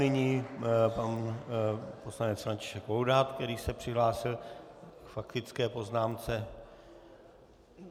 Nyní pan poslanec František Laudát, který se přihlásil k faktické poznámce.